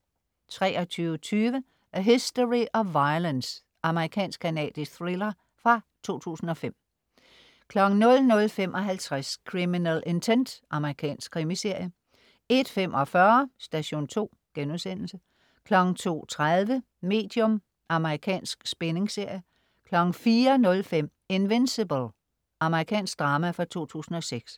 23.20 A History of Violence. Amerikansk, canadisk thriller fra 2005 00.55 Criminal Intent. Amerikansk krimiserie 01.45 Station 2* 02.30 Medium. Amerikansk spændingsserie 04.05 Invincible. Amerikansk drama fra 2006